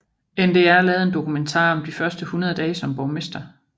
NDR lavede en dokumentar om de første 100 dage som borgmester